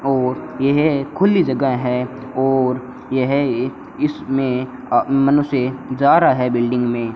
और यह खुली जगह है और यह ए इसमें अ मनुष्य जा रहा है बिल्डिंग मे --